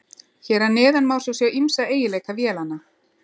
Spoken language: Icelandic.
Hér að neðan má svo sjá ýmsa eiginleika vélanna.